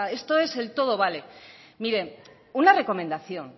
sea esto es el todo vale miren una recomendación